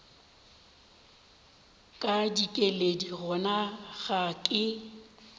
ka dikeledi gona ga ke